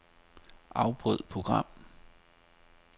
Afbryd program.